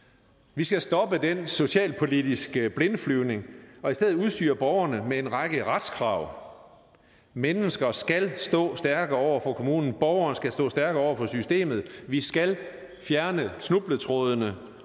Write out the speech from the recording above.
vi skal stoppe den socialpolitiske blindflyvning og i stedet udstyre borgerne med en række retskrav mennesker skal stå stærkere over for kommunen borgerne skal stå stærkere over for systemet vi skal fjerne snubletrådene